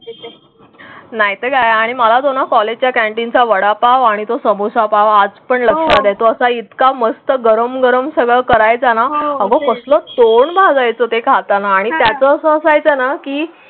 नाहीतर या आणि मला दोन कॉलेजचा वडापाव आणि तो समोसा पाव आजपण लक्षात आहे तो असा इतका मस्त गरम गरम सगळं करायचं नाआग असळ तोंड भाजायच ते खाताना आणि त्याचं अस असायच ना की?